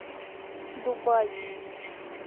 дубай